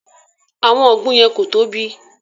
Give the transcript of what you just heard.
Àwọn ọgbùn yẹn ko tóbi.